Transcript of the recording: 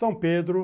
São Pedro.